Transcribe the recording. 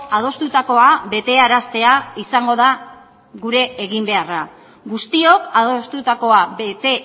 adostutakoa betearaztea izango da gure eginbeharra guztiok adostutakoa bete